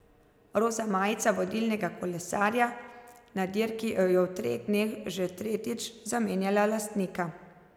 Roza majica vodilnega kolesarja na dirki je v treh dneh že tretjič zamenjala lastnika.